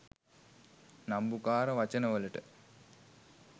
නම්බුකාර වචන වලට